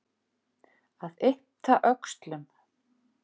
Að yppta öxlum